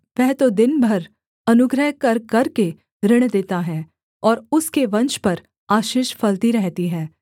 वह तो दिन भर अनुग्रह कर करके ऋण देता है और उसके वंश पर आशीष फलती रहती है